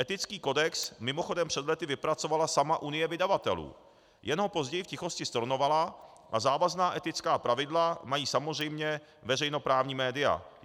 Etický kodex mimochodem před lety vypracovala sama Unie vydavatelů, jen ho později v tichosti stornovala, a závazná etická pravidla mají samozřejmě veřejnoprávní média.